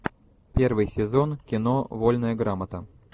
первый сезон кино вольная грамота